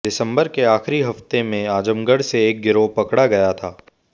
दिसंबर के आखिरी हफ्ते में आजमगढ़ से एक गिरोह पकड़ा गया था